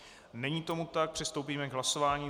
Není tomu tak, přistoupíme k hlasování.